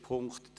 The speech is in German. / Abstentions